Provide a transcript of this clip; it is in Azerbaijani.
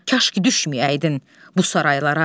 Kaş ki düşməyəydin bu saraylara.